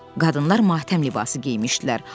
Qadınlar matəm libası geymişdilər.